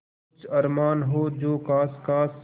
कुछ अरमान हो जो ख़ास ख़ास